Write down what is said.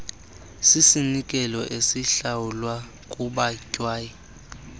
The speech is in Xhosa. sisinikelo esihlawulwa kubatyai